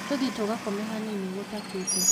Tũthiĩ tũgakome hanini gũtakĩĩte